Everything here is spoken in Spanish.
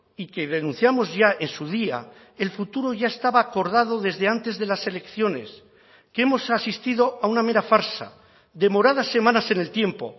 y que denunciamos ya en su día el futuro ya estaba acordado desde antes de las elecciones que hemos asistido a una mera farsa demorada semanas en el tiempo